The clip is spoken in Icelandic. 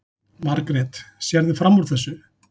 Margrét: Sérðu fram úr þessu?